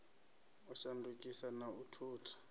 u shandukisa na u thutha